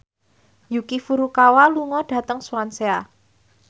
Yuki Furukawa lunga dhateng Swansea